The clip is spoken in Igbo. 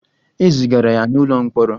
E zigara ya n'ụlọ mkpọrọ.